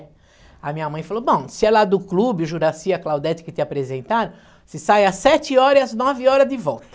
Aí minha mãe falou, bom, se é lá do clube, o Juracy e a Claudete que te apresentaram, você sai às sete horas e às nove horas de volta.